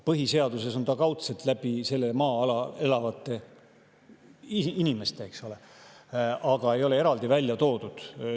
Põhiseaduses on see kaudselt maa-alal elavate inimeste kaudu, eks ole, aga seda ei ole eraldi välja toodud.